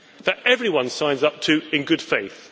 rules that everyone signs up to in good faith?